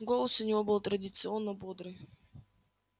голос у него был традиционно бодрый